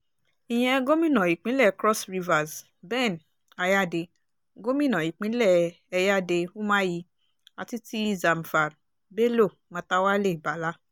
ìyẹn gómìnà ìpínlẹ̀ cross rivers ben ayáde gòmìnà ìpínlẹ̀ ẹ̀yáde umuahi àti ti zamfar bello matawalé balla